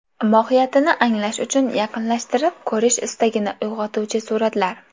Mohiyatini anglash uchun yaqinlashtirib ko‘rish istagini uyg‘otuvchi suratlar.